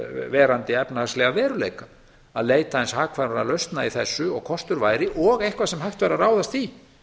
ennþá núverandi efnahagslega veruleika að leita aðeins hagkvæmari lausna í þessu og kostur væri og eitthvað sem hægt væri að ráðast í